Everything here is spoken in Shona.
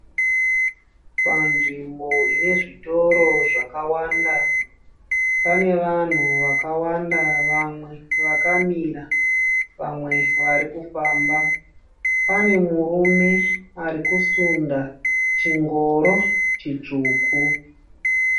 Panzvimbo ine zvitoro zvakawanda, pane vanhu vakawanda vamwe vakamira, vamwe vari kufamba .Pane murume ari kusunda chingoro chitsvuku.